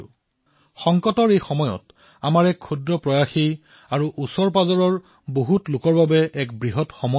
সংকটৰ এই সময়ছোৱাত আমাৰ ক্ষুদ্ৰ প্ৰয়াসে আমাৰ নিকটৱৰ্তী লোকসকলৰ বাবে বৃহৎ সম্বল হৈ উঠিব পাৰে